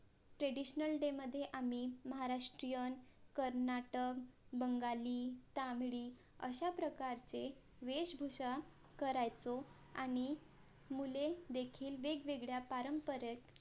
traditional day मधे महाराष्ट्रयीन कर्नाटक बंगाली तामिळी अशा प्रकारचे वेशभूषा करायचो आणि मुले देखील वेगवेगळ्या पारंपरिक